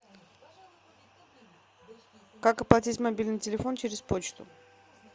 как оплатить мобильный телефон через почту